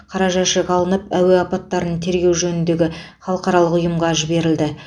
қара жәшік алынып әуе апаттарын тергеу жөніндегі халықаралық ұйымға жіберілді